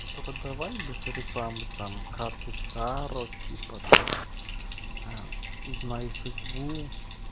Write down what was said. только давай без рекламы там карты таро типа там узнай судьбу